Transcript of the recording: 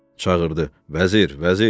Çağırdı: Vəzir, Vəzir!